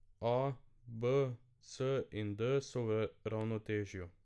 A, B, C in D so v ravnotežju.